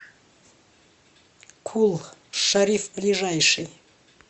кул шариф ближайший